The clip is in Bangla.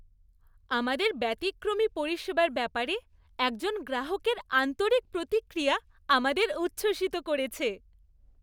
আমাদের ব্যতিক্রমী পরিষেবার ব্যাপারে একজন গ্রাহকের আন্তরিক প্রতিক্রিয়া আমাদের উচ্ছ্বসিত করেছে।